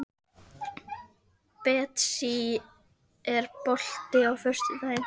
Betsý, er bolti á föstudaginn?